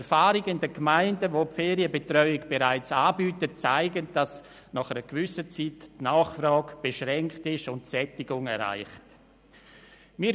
Die Erfahrungen aus Gemeinden mit einem Ferienbetreuungsangebot zeigen, dass die Nachfrage nach einer gewissen Zeit beschränkt und die Sättigung erreicht ist.